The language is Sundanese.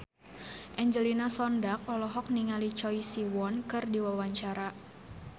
Angelina Sondakh olohok ningali Choi Siwon keur diwawancara